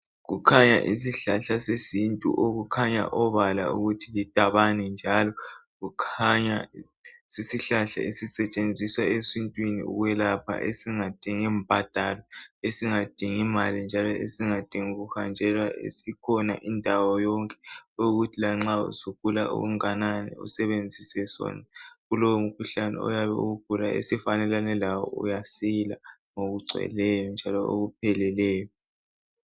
Kukhanya isihlahla yesintu okukhanya obala ukuthi lidabane njalo kukhanya sisihlahla sisetshenziswa esintweni ukwelapha esingadingi mbadalo esingadingi mali njalo kuhanjelwa. Sikhona indawo yonke. Okuthi lanxa ugula okunganani usebenzise sona kulowo umkhuhlane oyabe uwugula esifanelanelane lawo uyasila ngokugcweleyo njalo okupheleleyo